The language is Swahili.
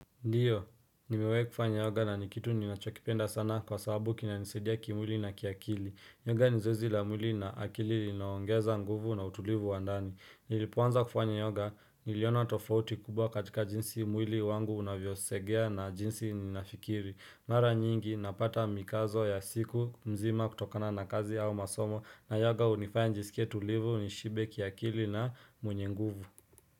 Ndiyo, nimewai kufanya yoga na ni kitu ninachokipenda sana kwa sababu kina nisaidia kimwili na kiakili. Yoga ni zoezi la mwili na akili linaongeza nguvu na utulivu wa ndani. Nilipoanza kufanya yoga niliona tofauti kubwa katika jinsi mwili wangu unavyosegea na jinsi ninafikiri. Mara nyingi napata mikazo ya siku mzima kutokana na kazi au masomo na yoga hunifaya njisikia tulivu nishibe kiakili na mwenye nguvu.